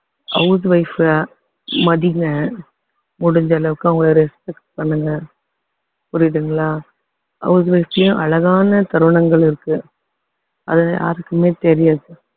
house wife அ மதிங்க முடிஞ்ச அளவுக்கு அவங்களை respect பண்ணுங்க புரியுதுங்களா house wife யும் அழகான தருணங்கள் இருக்கு அது யாருக்குமே தெரியாது